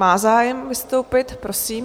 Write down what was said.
Má zájem vystoupit, prosím.